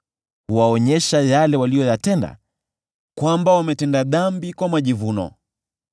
huwaonyesha yale waliyoyatenda, kwamba wametenda dhambi kwa majivuno.